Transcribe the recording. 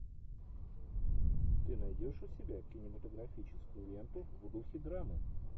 ты найдешь у себя кинематографическую ленту в духе драмы